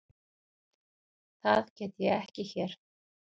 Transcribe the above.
Það get ég ekki hér.